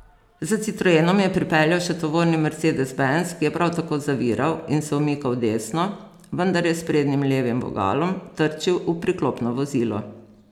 Za citroenom je pripeljal še tovorni mercedes benz, ki je prav tako zaviral in se umikal desno, vendar je s sprednjim levim vogalom trčil v priklopno vozilo.